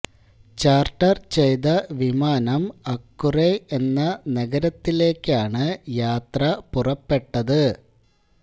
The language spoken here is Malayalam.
ചാര്ട്ടര് ചെയ്ത വിമാനം അക്കുറെ എന്ന നഗരത്തിലേയ്ക്കാണ് യാത്ര പുറപ്പെട്ടത്